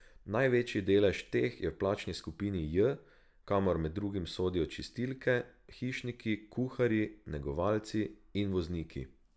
Največji delež teh je v plačni skupini J, kamor med drugim sodijo čistilke, hišniki, kuharji, negovalci in vozniki.